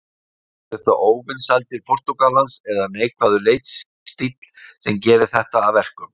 Eru það óvinsældir Portúgalans eða neikvæður leikstíll sem gerir þetta að verkum?